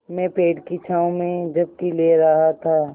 मैं पेड़ की छाँव में झपकी ले रहा था